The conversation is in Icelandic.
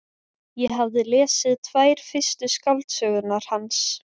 Ég hafði lesið tvær fyrstu skáldsögurnar hans.